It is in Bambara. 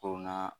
Ko na